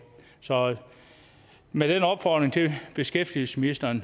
så med den opfordring til beskæftigelsesministeren